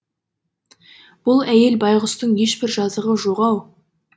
бұл әйел байғұстың ешбір жазығы жоқ ау